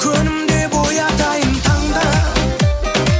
күнім деп оятайын таңда